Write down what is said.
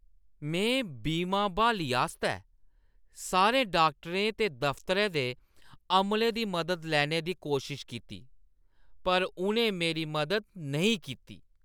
में बीमा ब्हाली आस्तै सारे डाक्टरें ते दफतरै दे अमले दी मदद लैने दी कोशश कीती। पर उʼनें मेरी मदद नेईं कीती।